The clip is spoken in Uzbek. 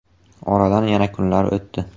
Oradan yana kunlar o‘tdi.